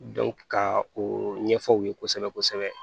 ka o ɲɛfɔ aw ye kosɛbɛ kosɛbɛ